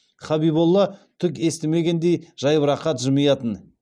хабиболла түк естімегендей жайбарақат жымиятын